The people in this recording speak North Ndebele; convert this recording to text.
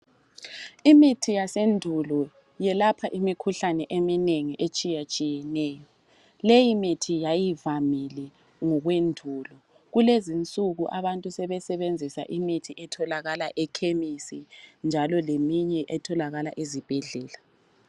Imithi yasendulo yelapha imikhuhlane eminengi etshiyatshiyeneyo leyi mithi yayivamile ngokwendulo kulezinsuku abantu sebesebenzisa imithi etholakala ema chemis njalo leminye etholakala ezibhedlela.